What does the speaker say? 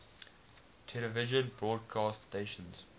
television broadcast stations